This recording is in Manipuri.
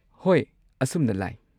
ꯍꯣꯏ, ꯑꯁꯨꯝꯅ ꯂꯥꯏ꯫